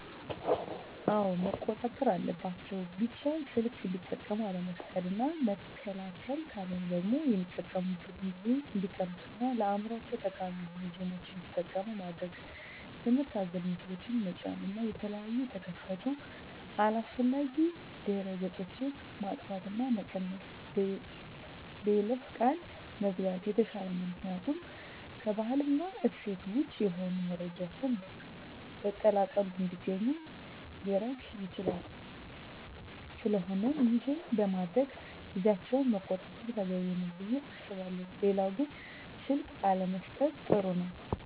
አወ መቆጣጠር አለባቸው ቢቻል ሰልክ እንዲጠቀሙ አለመፍቀድ እና መከልከል ካለሆነ ደግሞ የሚጠቀሚበትን ጊዜ እንዲቀንሡ እና ለአዕምሮቸው ጠቃሚ የሆኑ ጌምችን እንዲጠቀሙ ማድረግ ትምህርት አዘል ምስሎችን ጠጫን እና የተለያየ የተከፈቱ አላስፈላጊ ድህረ ገፆች ማጥፍት እና መቀነስ በይለፈ ቃል መዝጋት የተሻለ ነው ምክኒያቱም ከባህል እና እሴት ወጭ የሆኑ መረጃዎችን በቀላሉ እንዲገኙ ሊረግ ይችላል ስለቆነም ይሄን በማድረግ ልጆቻቸውን መቆጣጠር ተገቢ ነው። ብየ አስባለሁ ሌላው ግን ስልክ አለመሠጠት ጥሩ ነው